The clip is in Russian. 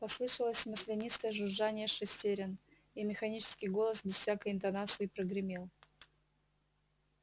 послышалось маслянистое жужжание шестерён и механический голос без всякой интонации прогремел